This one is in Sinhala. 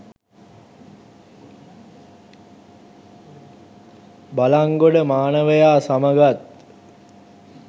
බලන්ගොඩ මානවයා සමගත්